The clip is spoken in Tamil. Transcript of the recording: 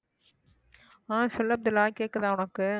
ஆஹ் சொல்லு அப்துல்லாஹ் கேக்குதா உனக்கு